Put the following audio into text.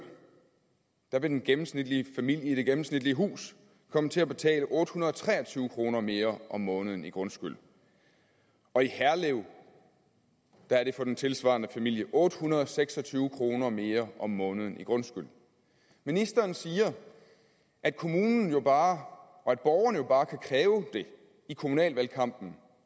vil den gennemsnitlige familie i det gennemsnitlige hus komme til at betale otte hundrede og tre og tyve kroner mere om måneden i grundskyld og i herlev er det for den tilsvarende familie otte hundrede og seks og tyve kroner mere om måneden i grundskyld ministeren siger at kommunen jo bare og borgerne jo bare kan kræve det i kommunalvalgkampen